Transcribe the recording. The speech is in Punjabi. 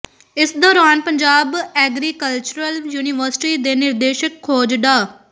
ਇਸ ਦੌਰਾਨ ਪੰਜਾਬ ਐਗਰੀਕਲਚਰਲ ਯੂਨੀਵਰਸਿਟੀ ਦੇ ਨਿਰਦੇਸ਼ਕ ਖੋਜ ਡਾ